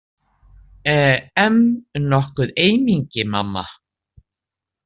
E em nokkuð eymingi, mamma?